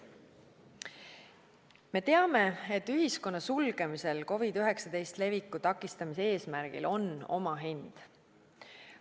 Me teame, et ühiskonna sulgemisel COVID-19 leviku takistamise eesmärgil on oma hind.